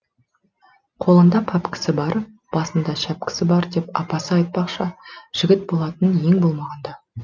қолында пәпкісі бар басында шәпкісі бар деп апасы айтпақша жігіт болатын ең болмағанда